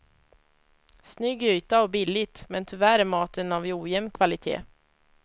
Snygg yta och billigt, men tyvärr är maten av ojämn kvalitet.